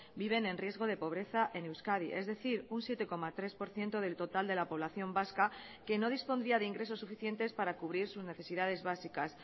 viven en riesgo de pobreza en euskadi es decir un siete coma tres por ciento del total de la población vasca que no dispondría de ingresos suficientes para cubrir sus necesidades básicas